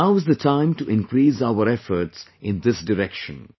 Now is the time to increase our efforts in this direction